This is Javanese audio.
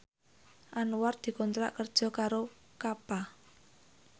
Anwar dikontrak kerja karo Kappa